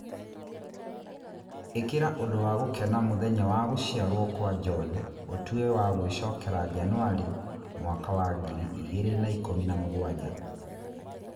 ĩkĩra ũndũ wa gũkena mũthenya wa gũciarwo kwa john ũtue wa gwĩcokera Janũarĩ mwaka wa ngiri igĩrĩ na ikũmi na mũgwanja